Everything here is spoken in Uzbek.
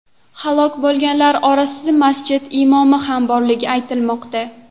Halok bo‘lganlar orasida masjid imomi ham borligi aytilmoqda.